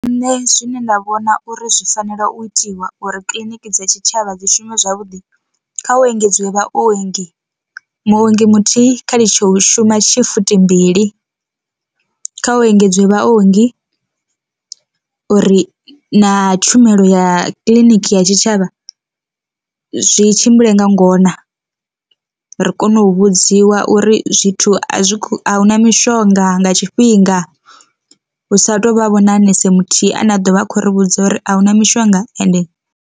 Nṋe zwine nda vhona uri zwi fanela u itiwa uri kiḽiniki dza tshitshavha dzi shume zwavhuḓi kha u engedziwe vha ongi, muongi muthihi kha litshe u shuma shifithi mbili, kha u engedziwe vhaongi uri na tshumelo ya kiḽiniki ya tshitshavha zwi tshimbile nga ngona ri kone u vhudziwa uri zwithu a zwi ahuna mishonga nga tshifhinga hu sa tou vha vhona na nese muthihi ane a ḓovha a kho ri vhudza uri ahuna mishonga ende.